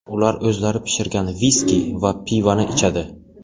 Ular o‘zlari pishirgan viski va pivoni ichadi.